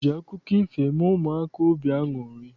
E ji akụkọ ifo eme ụmụaka obi aṅụrị.